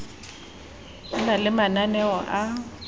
ho na le mananeo a